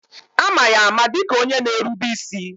Ama ya ama dịka onye na erube isi.